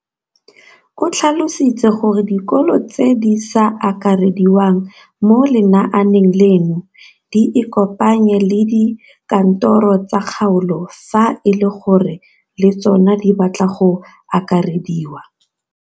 O tlhalositse gore dikolo tse di sa akarediwang mo lenaaneng leno di ikopanye le dikantoro tsa kgaolo fa e le gore le tsona di batla go akarediwa.